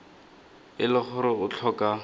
e le gore o tlhoka